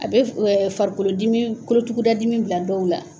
A bɛ farikolodimi kolotugudadadimi bila dɔw la.